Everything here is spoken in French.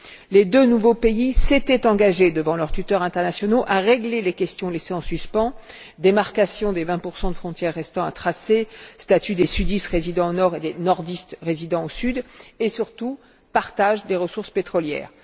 Les deux nouveaux pays s'étaient engagés devant leurs tuteurs internationaux à régler les questions laissées en suspens démarcation des 20 de frontière restant à tracer, statut des sudistes résidant au nord et des nordistes résidant au sud et, surtout, partage des ressources pétrolières.